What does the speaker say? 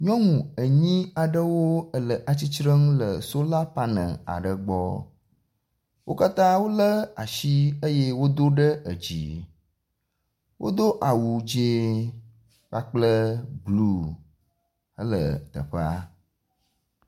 Nyɔnu enyi aɖe wole tsitrenu le sola panel gbɔ, wo katã wole asi eye wodo ɖe edzi, wodo awu dzi kple blue hele teƒea